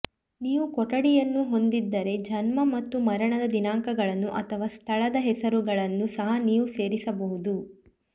ನೀವು ಕೊಠಡಿಯನ್ನು ಹೊಂದಿದ್ದರೆ ಜನ್ಮ ಮತ್ತು ಮರಣದ ದಿನಾಂಕಗಳನ್ನು ಅಥವಾ ಸ್ಥಳದ ಹೆಸರುಗಳನ್ನು ಸಹ ನೀವು ಸೇರಿಸಬಹುದು